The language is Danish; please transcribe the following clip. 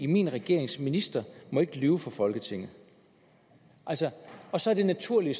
min regerings ministre må ikke lyve for folketinget og så og så er det naturlige